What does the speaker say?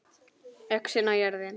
ÖXIN OG JÖRÐIN